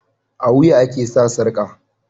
A wuya ake sa sarƙa